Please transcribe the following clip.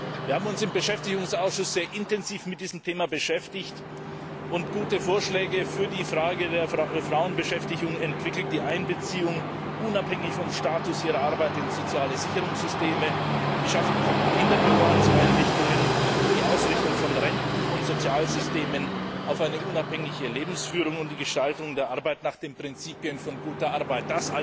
Wir haben uns im Beschäftigungsausschuss sehr intensiv mit diesem Thema befasst und gute Vorschläge für die Frage der Frauenbeschäftigung entwickelt, die Einbeziehung unabhängig vom Status ihrer Arbeit in soziale Sicherungssysteme, die Schaffung von Kinderbetreuungseinrichtungen, die Ausrichtung von Renten und Sozialsystemen auf eine unabhängige Lebensführung und die Gestaltung der Arbeit nach den Prinzipien von guter Arbeit.